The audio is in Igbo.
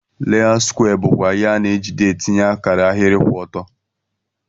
Leọut skwee bukwa ihe ana ejide atinye akara ahiri kwụ ọtọ.